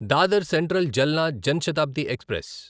Dadar central Jalna Jan Shatabdi express